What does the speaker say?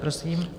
Prosím.